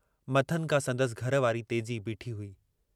मथनि खां संदसि घर वारी तेजी बीठी हुई।